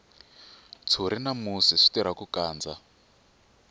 ntshuri na musi swi tirha ku kandza